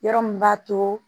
Yɔrɔ min b'a to